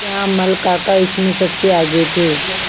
श्यामल काका इसमें सबसे आगे थे